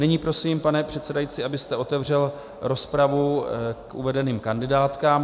Nyní prosím, pane předsedající, abyste otevřel rozpravu k uvedeným kandidátkám.